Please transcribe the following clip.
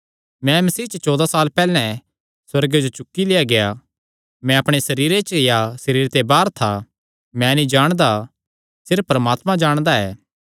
मैं मसीह च चौदा साल पैहल्ले सुअर्गे जो चुक्की लेआ गेआ मैं अपणे सरीर च या सरीरे ते बाहर था मैं नीं जाणदा सिर्फ परमात्मा जाणदा ऐ